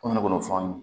Komi ne b'o fɔ an ye